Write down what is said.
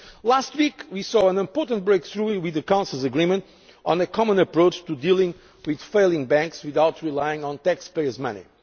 further. Last week we saw an important breakthrough with the Council's agreement on a common approach to dealing with failing banks without relying on taxpayers'